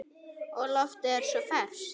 Og loftið er svo ferskt.